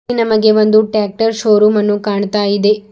ನಮಗೆ ಒಂದು tractor showroom ಅನ್ನು ಕಾಣ್ತಾ ಇದೆ.